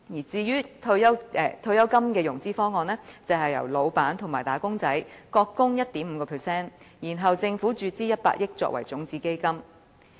至於退休金的融資方案，就是由老闆和"打工仔"各供 1.5%， 然後政府注資100億元作為種子基金。